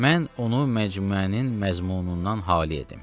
Mən onu məcmuənin məzmunundan xali edim.